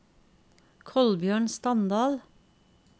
Kolbjørn Standal